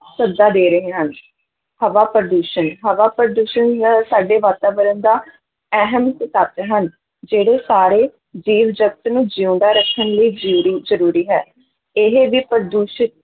ਸੱਦਾ ਦੇ ਰਹੇ ਹਨ ਹਵਾ ਪ੍ਰਦੂਸ਼ਣ ਹਵਾ ਪ੍ਰਦੂਸ਼ਣ ਹੁੰਦਾ ਹੈ ਸਾਡੇ ਵਾਤਾਵਰਨ ਦਾ ਅਹਿਮ ਇੱਕ ਤੱਤ ਹਨ, ਜਿਹੜੇ ਸਾਰੇ ਜੀਵ-ਜਗਤ ਨੂੰ ਜਿਊਂਦਾ ਰੱਖਣ ਲਈ ਜ਼ਰੂਰੀ, ਜ਼ਰੂਰੀ ਹੈ, ਇਹ ਵੀ ਪ੍ਰਦੂਸ਼ਿਤ